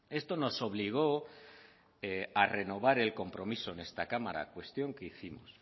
esto nos obligó a renovar el compromiso en esta cámara cuestión que hicimos